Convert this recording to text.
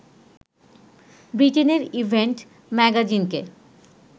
ব্রিটেনের ইভেন্ট ম্যাগাজিনকে